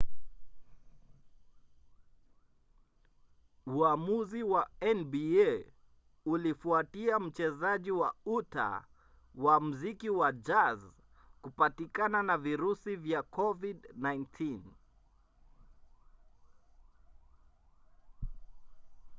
uamuzi wa nba ulifuatia mchezaji wa utah wa mziki wa jazz kupatikana na virusi vya covid-19